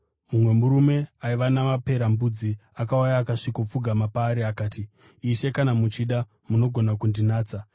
Mumwe murume aiva namaperembudzi akauya akasvikopfugama paari akati, “Ishe, kana muchida, munogona kundinatsa.”